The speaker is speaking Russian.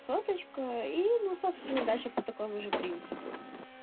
соточка и ну собственно дальше по такому же принципу